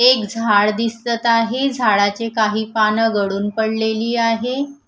एक झाड दिसत आहे झाडाचे काही पानं गळून पडलेली आहे.